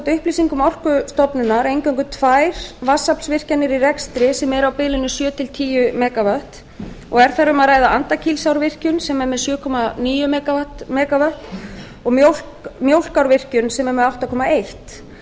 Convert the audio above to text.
upplýsingum orkustofnunar eingöngu tvær vatnsaflsvirkjanir í rekstri sem eru á bilinu sjö til tíu mega vöttum og er þar um að ræða andakílsárvirkjun sem er með sjö komma níu mega vöttum og mjólkárvirkjun sem er með átta komma eitt